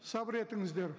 сабыр етіңіздер